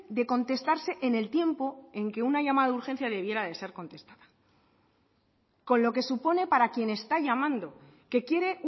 de contestarse en el tiempo en que una llamada de urgencia debiera de ser contestada con lo que supone para quien está llamando que quiere